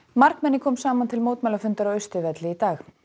margmenni kom saman til mótmælafundar á Austurvelli í dag